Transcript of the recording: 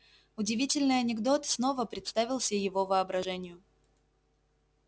удивительный анекдот снова представился его воображению